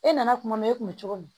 E nana kuma e kun bɛ cogo di